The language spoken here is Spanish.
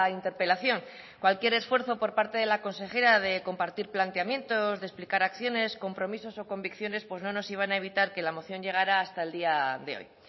interpelación cualquier esfuerzo por parte de la consejera de compartir planteamientos de explicar acciones compromisos o convicciones no nos iban a evitar que la moción llegara hasta el día de hoy